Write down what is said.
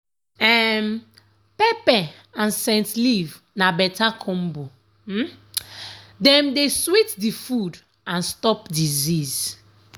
um pepper and scent leaf na better combo um dem dey sweet the food and stop disease.